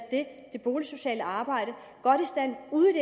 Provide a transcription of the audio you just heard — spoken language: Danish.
det boligsociale arbejde godt i stand ude